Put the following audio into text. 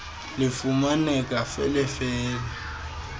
lifumaneka fele fele